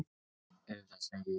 Auðvitað, segi ég.